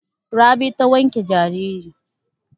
Rabi ta wanke jariri.